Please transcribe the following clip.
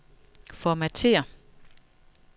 Formatér.